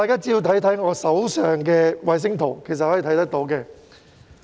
請看看我手上的衞星圖。